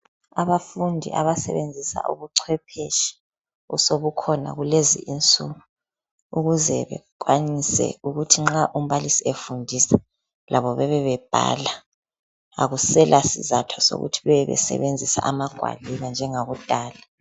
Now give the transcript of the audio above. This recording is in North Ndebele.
Abafundi abasebenzisa ubuchwepheshi osebukhona kulezi insuku ukuze bekwanise ukuthi nxa umbalisi efundisa labo bebebhala. Akusela sizatho sokuthi bebebesebenzisa amagwaliba njengakudala.